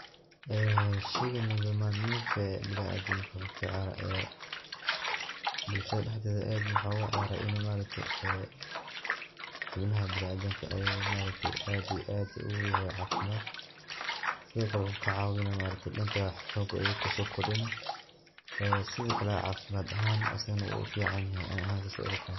Eee sheygan nolol maalmeedka, biniadaku kuciyaro ee bulshadha daxded adh maaragtee, xubnaxa biniadamka ayu adh iyo adh oguyaxay cafimat, sidhokale waxu kacawinaa, maaraktee danka xooga sokordinaa, ee sidhakale cafimadh axan asagana wuuficanyexee aniga sas ayay ilataxay.